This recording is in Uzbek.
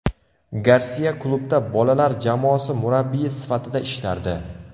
Garsiya klubda bolalar jamoasi murabbiyi sifatida ishlardi.